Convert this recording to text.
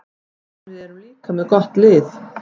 En við erum líka með gott lið.